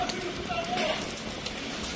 Qazanı hara qoyursunuz, təmiz olsun.